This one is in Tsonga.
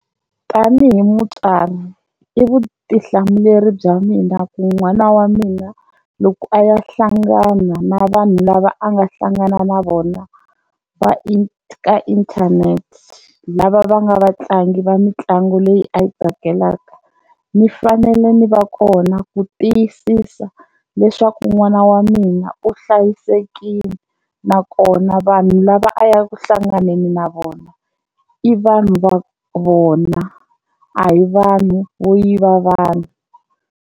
Tanihi mutswari i vutihlamuleri bya mina ku n'wana wa mina loko a ya hlangana na vanhu lava a nga hlangana na vona va ka internet lava va nga vatlangi va mitlangu leyi a yi tsakelaka ni fanele ni va kona ku tiyisisa leswaku n'wana wa mina u hlayisekile nakona vanhu lava a ya ku hlanganeni na vona i vanhu va vona a hi vanhu vo yiva vanhu.